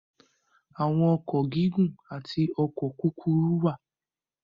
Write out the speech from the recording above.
Àwọn ọkọ̀ gígùn àti ọkọ̀ kúkúrú wà.